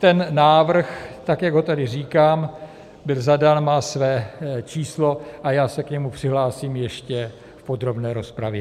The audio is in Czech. Ten návrh, tak jak ho tady říkám, byl zadán, má své číslo a já se k němu přihlásím ještě v podrobné rozpravě.